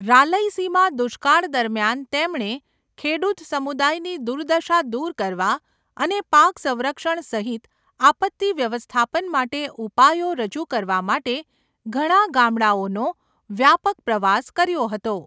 રાલયસીમા દુષ્કાળ દરમિયાન તેમણે ખેડૂત સમુદાયની દુર્દશા દૂર કરવા અને પાક સંરક્ષણ સહિત આપત્તિ વ્યવસ્થાપન માટે ઉપાયો રજૂ કરવા માટે ઘણા ગામડાઓનો વ્યાપક પ્રવાસ કર્યો હતો.